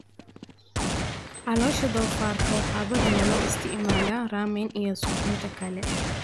Caloosha doofaarka waxaa badanaa loo isticmaalaa ramen iyo suxuunta kale.